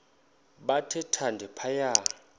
bathe thande phaya